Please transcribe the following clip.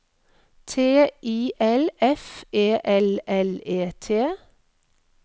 T I L F E L L E T